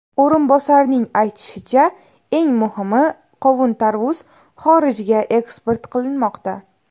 O‘rinbosarning aytishicha, eng muhimi qovun-tarvuz xorijga eksport qilinmoqda.